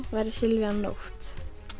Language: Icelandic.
væri Silvía Nótt